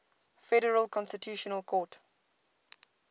federal constitutional court